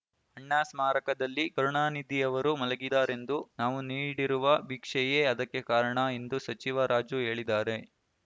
ಅಣ್ಣಾ ಸ್ಮಾರಕದಲ್ಲಿ ಕರುಣಾನಿಧಿಯವರು ಮಲಗಿದ್ದಾರೆಂದು ನಾವು ನೀಡಿರುವ ಭಿಕ್ಷೆಯೇ ಅದಕ್ಕೆ ಕಾರಣ ಎಂದು ಸಚಿವ ರಾಜು ಹೇಳಿದ್ದಾರೆ